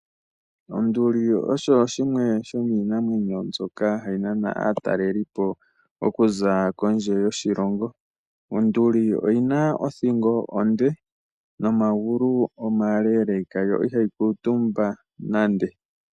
Onduli osho shimwe sho miinamwenyo mbyoka hayi nana aatalelipo okuza kondje yoshilongo. Onduli oyina othingo onde noo magulu omaleleka yo ihayi kuntumba nande.